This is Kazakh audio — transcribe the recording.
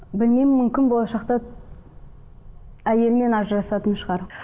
білмеймін мүмкін болашақта әйелімен ажырасатын шығар